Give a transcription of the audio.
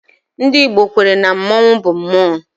Ndị Igbo kwere na mmonwu bụ mmụọ